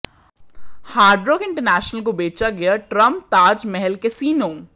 hard Rock International को बेचा गया ट्रंप ताज महल कैसिनो